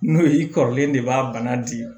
N'o ye i kɔrɔlen de b'a bana di